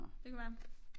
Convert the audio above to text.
Det kunne være